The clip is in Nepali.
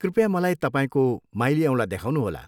कृपया मलाई तपाईँको माइली औँला देखाउनुहोला।